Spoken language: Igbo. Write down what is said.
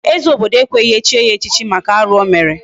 Ee, eze obodo ekweghị echi ya echichi maka arụ o mere.